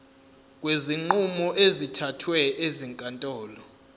kwezinqumo ezithathwe ezinkantolo